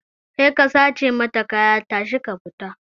Kai ka sace mata kaya tashi ka fita!